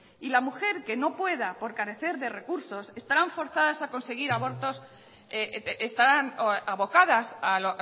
y la mujer que no pueda por carecer de recursos estarán abocadas a